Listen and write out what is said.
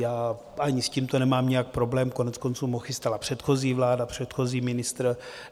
Já ani s tímto nemám nějak problém, koneckonců ho chystala předchozí vláda, předchozí ministr.